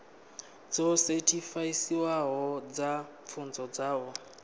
dzo sethifaiwaho dza pfunzo dzavho